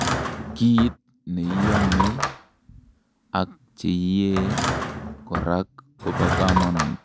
kiit neiomei ak cheiyee korak kobo kamanut